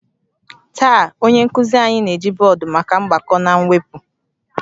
Taa, onye nkuzi anyị na-eji bọọdụ maka mgbakọ na mwepụ